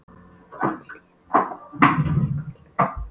Fær allt í einu bilaða flugu í kollinn.